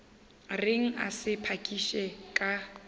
reng a sa phakiše ka